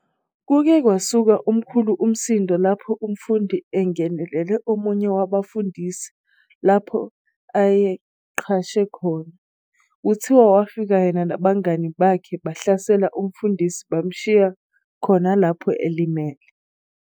Kuke kwasuka omkhulu umsindo lapho umfundi engenele omunye wabafundisi lapho ayeqashe khona, Kuthiwa wafika yena nabangani bakhe bahlasela umfundisi bamshiya khona lapho elimele.